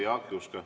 Jaak Juske.